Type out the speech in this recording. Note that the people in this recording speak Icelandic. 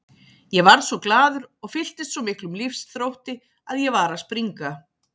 Ég varð svo glaður og fylltist svo miklum lífsþrótti að ég var að springa.